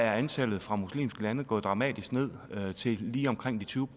er antallet fra muslimske lande gået dramatisk ned til lige omkring tyve